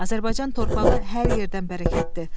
Azərbaycan torpağı hər yerdən bərəkətdir.